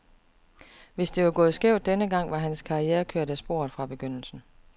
Hvis det var gået skævt den gang, var hans karriere kørt af sporet fra begyndelsen.